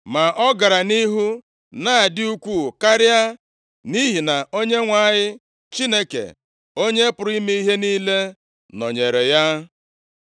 Ma ọ gara nʼihu na-adị ukwuu karịa, nʼihi na Onyenwe anyị, Chineke, Onye pụrụ ime ihe niile nọnyeere ya.